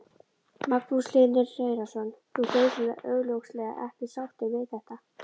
Magnús Hlynur Hreiðarsson: Þú ert augljóslega ekki sáttur við þetta?